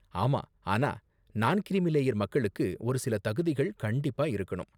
ஆமா ஆனா நான் கிரீமி லேயர் மக்களுக்கு ஒரு சில தகுதிகள் கண்டிப்பா இருக்கணும்.